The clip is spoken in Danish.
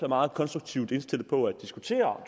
meget konstruktivt indstillet på at diskutere